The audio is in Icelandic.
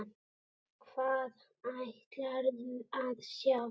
Hvað ætlarðu að sjá?